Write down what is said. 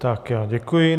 Tak já děkuji.